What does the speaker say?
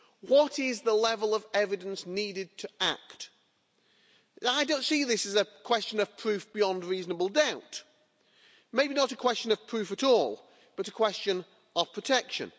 What is the level of evidence needed for us to act? I don't see this is a question of proof beyond reasonable doubt maybe not a question of proof at all, but a question of protection.